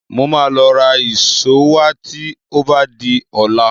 Mo máa lọ ra ìṣó wá tí ó bá di ọ̀la